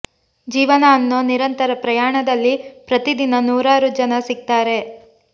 ಜೀವನ ಅನ್ನೋ ನಿರಂತರ ಪ್ರಯಾಣದಲ್ಲಿ ಪ್ರತಿ ದಿನ ನೂರಾರು ಜನ ಸಿಗ್ತಾರೆ